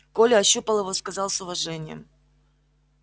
коля ощупал его сказал с уважением